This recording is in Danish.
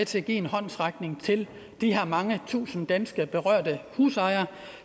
til at give en håndsrækning til de her mange tusinde danske berørte husejere